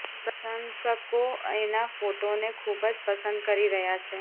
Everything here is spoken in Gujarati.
પ્રશંસકો એના ફોટોને ખૂબ જ પસંદ કરી રહ્યા છે